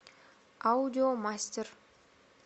аудиомастер